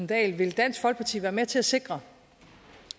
dahl vil dansk folkeparti være med til at sikre